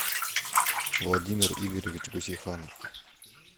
владимир игоревич гусейханов